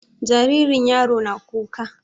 Jaririn yaro na kuka.